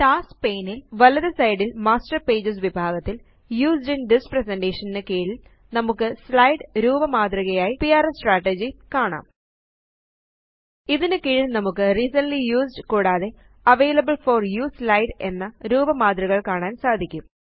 tasks pane ല് വലത് side ല് മാസ്റ്റർ പേജസ് വിഭാഗത്തില് യൂസ്ഡ് ഇൻ തിസ് പ്രസന്റേഷൻ ന് കീഴില് നമുക്ക് സ്ലൈഡ് രൂപമാതൃകയായ പിആർഎസ് സ്ട്രാട്ടജി കാണാം ഇതിനു കീഴില് നമുക്ക് റിസെന്റ്ലി യൂസ്ഡ് കൂടാതെ അവെയിലബിൾ ഫോർ യുഎസ്ഇ സ്ലൈഡ് എന്ന രൂപമാതൃകകള് കാണാന് സാധിക്കും